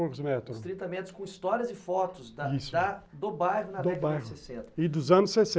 Uns trinta metros com histórias e fotos da do bairro na década de sessenta e dos anos sessenta.